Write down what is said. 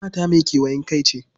Hammata mai kewayen kai ce.